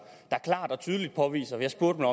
og tydeligt påviser jeg spurgte